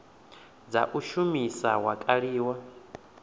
dza u shumisa wa kaliwa